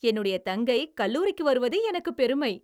என்னுடைய தங்கை கல்லூரிக்கு வருவது எனக்குப் பெருமை!